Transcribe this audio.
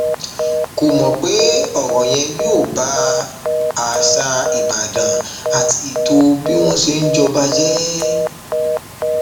kò mọ pé ọrọ yẹn yóò ba àṣà ìbàdàn àti ètò bí wọn ṣe ń jọba jẹ